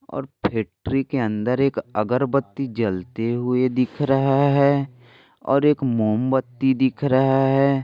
और फॅक्टरी के अंदर एक अगरबत्ती जलते हुए दिख रहा है और एक मोमबत्ती दिख रहा है।